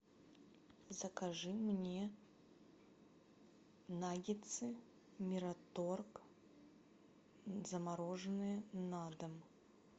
закажи мне наггетсы мираторг замороженные на дом